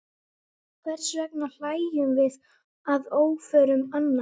Hvers vegna hlæjum við að óförum annarra?